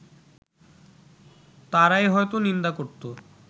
তারাই হয়তো নিন্দা করতো